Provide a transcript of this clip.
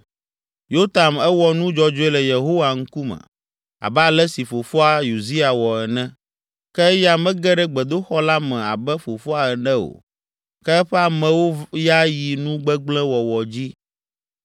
Yotam Ewɔ nu dzɔdzɔe le Yehowa ŋkume, abe ale si fofoa, Uzia, wɔ ene. Ke eya mege ɖe gbedoxɔ la me abe fofoa ene o; ke eƒe amewo ya yi nu gbegblẽ wɔwɔ dzi.